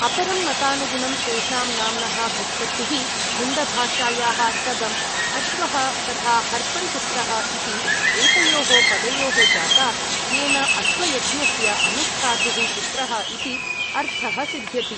अपरं मतानुगुगुणं तेषां नाम्नः व्युत्पत्तिः, मुण्डभाषायाः सदम् अश्वः तथा हर्पन् पुत्रः इति एतयोः पदयोः जाता, येन अश्वयज्ञस्य अनुष्ठातुः पुत्रः इति अर्थः सिध्यति।